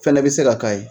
Fɛnɛ bɛ se ka k'a ye